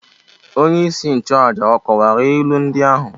Onyeisi nchụàjà ọ̀ kọwara ilu ndị ahụ?